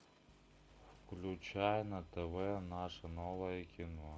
включай на тв наше новое кино